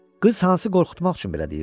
Qız Hansı qorxutmaq üçün belə deyirdi.